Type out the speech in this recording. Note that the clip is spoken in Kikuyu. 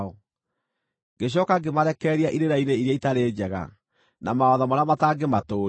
Ngĩcooka ngĩmarekereria irĩra-inĩ iria itaarĩ njega, na mawatho marĩa matangĩmatũũria;